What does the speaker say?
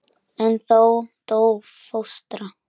En þá dó fóstra.